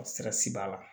Sira si b'a la